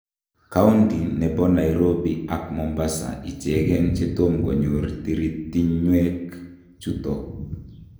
Kaundi nebo Nairobi ak Mombasa ichengen chetomkoyor tiritinywek chuton.